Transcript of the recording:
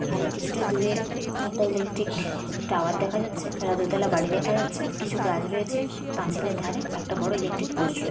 আরে কিছুটা দূরে একটা ইলেকট্রিক টাওয়ার দেখা যাচ্ছে। আর দোতলা বাড়ি দেখা যাচ্ছে। কিছু গাছ রয়েছে পাঁচিলের ধারে একটা বড় ইলেকট্রিক পোস্ট রো--